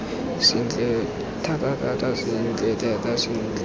sentle thatathata sentle thata sentle